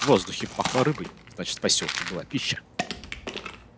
в воздухе пахло рыбой значит в посёлке была пища